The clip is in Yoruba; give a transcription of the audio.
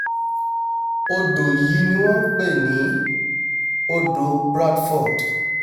odò yìí ni wọ́n ń pè ní odò o bradford